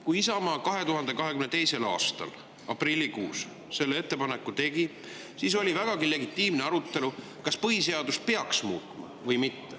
Kui Isamaa 2022. aasta aprillikuus selle ettepaneku tegi, siis tekkis vägagi legitiimne arutelu, kas põhiseadust peaks muutma või mitte.